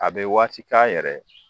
A bɛ waati k'a yɛrɛ ye